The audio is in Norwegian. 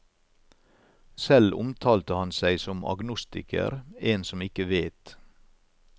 Selv omtalte han seg som agnostiker, en som ikke vet.